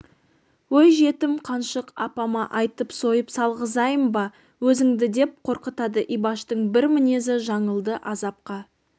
өй жетім қаншық апама айтып сойып салғызайын ба өзіңді деп қорқытады ибаштың бір мінезі жаңылды азапқа